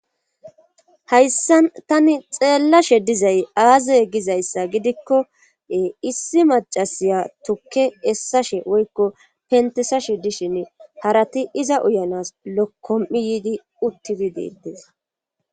hayssan tani xeellashe dizay aaze gizayssa gidikkoe issi macasiya tukke essashe woykko pentesashe dishinne harati iza uyanas lokkom'i yiidi uttidi deetes